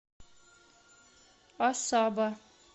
асаба